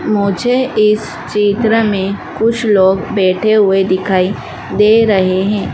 मुझे इस चित्र में कुछ लोग बैठे हुए दिखाई दे रहे हैं।